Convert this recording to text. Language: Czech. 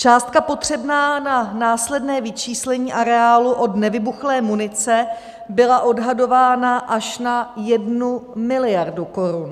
Částka potřebná na následné vyčištění areálu od nevybuchlé munice byla odhadována až na 1 miliardu korun.